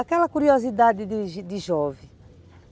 Aquela curiosidade de de jovem.